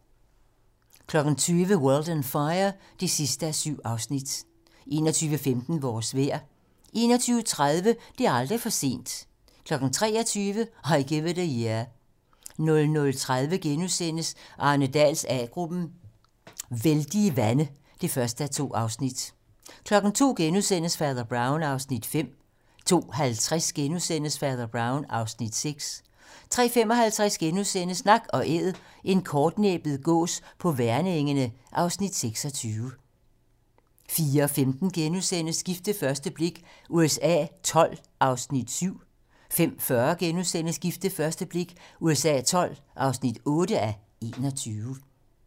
20:00: World on Fire (7:7) 21:15: Vores vejr 21:30: Det er aldrig for sent 23:00: I Give It A Year 00:30: Arne Dahls A-gruppen: Vældige vande (1:2)* 02:00: Fader Brown (5:10)* 02:50: Fader Brown (6:10)* 03:55: Nak & Æd - en kortnæbbet gås på Værnengene (Afs. 26)* 04:15: Gift ved første blik USA XII (7:21)* 05:40: Gift ved første blik USA XII (8:21)*